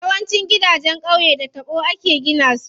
Yawancin gidanjen qauye da taɓo ake gina su.